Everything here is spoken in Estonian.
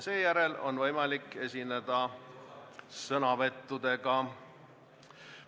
Seejärel on võimalik esineda sõnavõttudega.